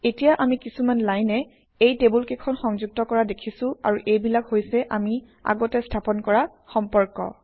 এতিয়া আমি কিছুমান লাইনে এই টেবুলকেইখন সংযুক্ত কৰা দেখিছোঁ আৰু এইবিলাক হৈছে আমি আগতে স্থাপন কৰা সম্পৰ্ক